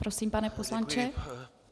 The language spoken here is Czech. Prosím, pane poslanče.